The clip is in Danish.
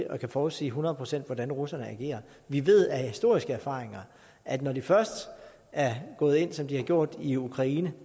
og kan forudsige hundrede procent hvordan russerne agerer vi ved af historiske erfaringer at når de først er gået ind som de har gjort i ukraine